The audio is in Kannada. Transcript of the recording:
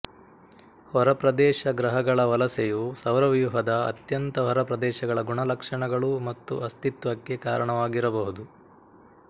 ಹೊರಪ್ರದೇಶ ಗ್ರಹಗಳ ವಲಸೆಯು ಸೌರವ್ಯೂಹದ ಅತ್ಯಂತ ಹೊರಪ್ರದೇಶಗಳ ಗುಣಲಕ್ಷಣಗಳು ಮತ್ತು ಅಸ್ತಿತ್ವಕ್ಕೆ ಕಾರಣವಾಗಿರಬಹುದು